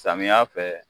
Samiya fɛ